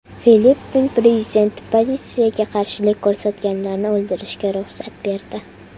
Filippin prezidenti politsiyaga qarshilik ko‘rsatganlarni o‘ldirishga ruxsat berdi.